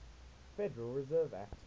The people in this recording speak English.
federal reserve act